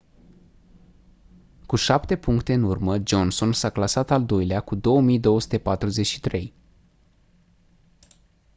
cu șapte puncte în urmă johnson s-a clasat al doilea cu 2243